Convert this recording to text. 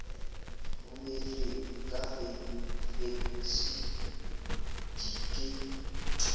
rometsweng ka fekse di ke